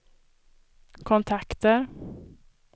kontakter